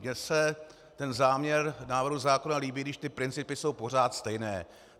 Mně se ten záměr návrhu zákona líbí, když ty principy jsou pořád stejné.